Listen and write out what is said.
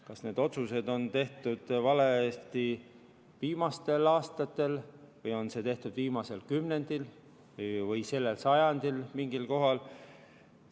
Kas need otsused on tehtud valesti viimastel aastatel või on seda tehtud viimasel kümnendil või sellel sajandil mingil kohal?